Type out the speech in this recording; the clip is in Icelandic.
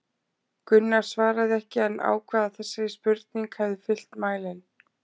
Gunnar svaraði ekki en ákvað að þessi spurning hefði fyllt mælinn.